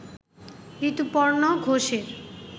ঋতুপর্ণ ঘোষের